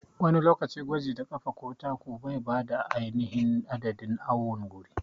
Wani lokaci gwaji da ƙafa ko taku bai bayar da ainihin adadin awon gurin.